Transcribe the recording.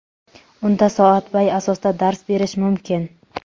unda soatbay asosda dars berish mumkin.